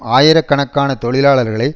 ஆயிரக்கணக்கான தொழிலாளர்களை